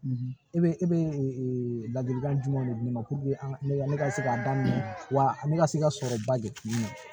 E bɛ e bɛ ee ladilikan jumɛnw de di ne ma ne ka ne ka se k'a daminɛ wa ne ka se ka sɔrɔba de kun don